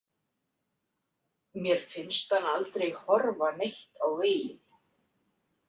Mér finnst hann aldrei horfa neitt á veginn.